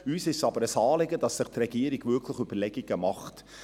Uns ist es aber ein Anliegen, dass sich die Regierung wirklich Überlegungen macht.